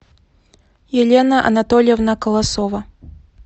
елена анатольевна колосова